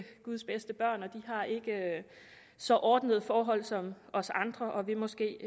guds bedste børn og de har ikke så ordnede forhold som os andre og vil måske